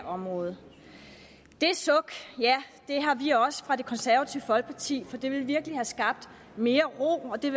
område det suk ja det har vi også fra det konservative folkepartis side for det ville virkelig have skabt mere ro det